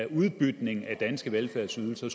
udbytning af danske velfærdsydelser